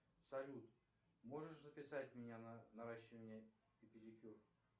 салют можешь записать меня на наращивание и педикюр